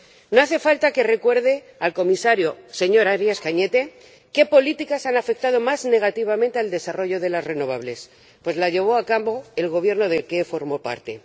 No hace falta que recuerde al Comisario, señor Arias Cañete, qué políticas han afectado más negativamente al desarrollo de las renovables, pues las llevó a cabo el Gobierno del que él formó parte.